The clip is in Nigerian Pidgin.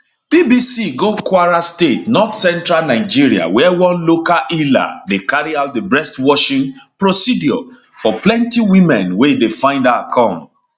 bbc go kwara state northcentral nigeria wia one local healer dey carry out di breast washing procedure for plenty women wey dey find her come